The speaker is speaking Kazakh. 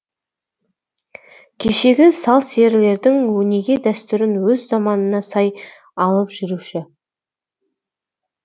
кешегі сал серілердің өнеге дәстүрін өз заманына сай алып жүруші